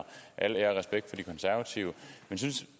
al ære og respekt for de konservative men synes